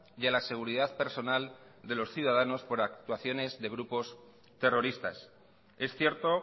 y a la seguridad personal de los ciudadanos por actuaciones de grupos terroristas es cierto